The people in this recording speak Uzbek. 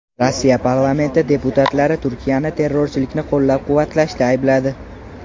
Rossiya parlamenti deputatlari Turkiyani terrorchilikni qo‘llab-quvvatlashda aybladi.